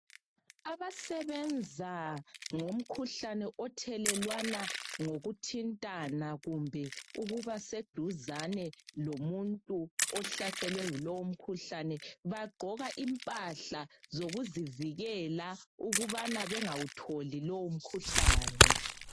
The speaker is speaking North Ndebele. Abasebenza ngomkhuhlane othelelwana ngokuthintana kumbe ukuba seduzane lomuntu ohlaselwe yilowo mkhuhlane bagqoka impahla zokuzivikela ukubana bengawutholi lowo mkhuhlane.